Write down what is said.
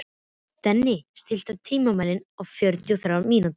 Denni, stilltu tímamælinn á fjörutíu og þrjár mínútur.